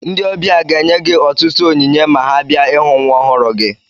Ndị ọbịa ga-enye gị ọtụtụ onyinye ma ha bia ịhụ nwa ọhụrụ gị